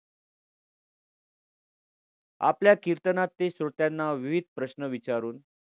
आपल्या कीर्तनात ते श्रोत्यांना विविध प्रश्न विचारून